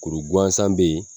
Kuru guansan be ye